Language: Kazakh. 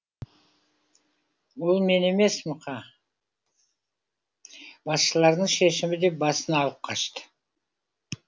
ол мен емес мұха басшылардың шешімі деп басын алып қашты